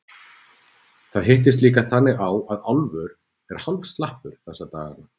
Það hittist líka þannig á að Álfur er hálf slappur þessa dagana.